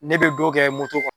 Ne bɛ dɔw kɛ kɔnɔ.